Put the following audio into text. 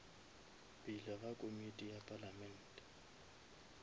pele ga komiti ya palamente